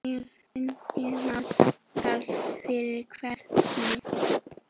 Ingimar Karl: Fyrir hvern?